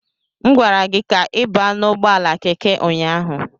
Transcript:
M gwara gị ka ị baa n'ụgbọala Keke ụnyaahụ.